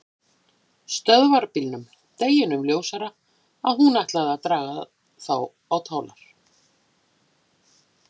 Stöðvarbílum, deginum ljósara að hún ætlaði að draga þá á tálar.